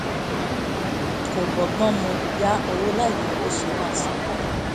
kò bọ́gbọ́n mu yá owó láì mọ bó o ṣe máa san padà